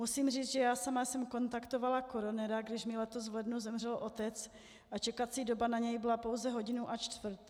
Musím říct, že já sama jsem kontaktovala koronera, když mi letos v lednu zemřel otec, a čekací doba na něj byla pouze hodinu a čtvrt.